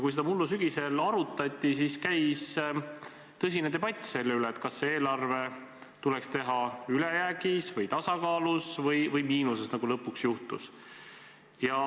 Kui seda mullu sügisel arutati, siis käis tõsine debatt selle üle, kas see eelarve tuleks teha ülejäägis või tasakaalus või miinuses, nagu lõpuks juhtus.